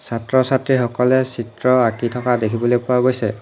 ছাত্ৰ-ছাত্ৰীসকলে চিত্ৰ আঁকি থকা দেখিবলৈ পোৱা গৈছে।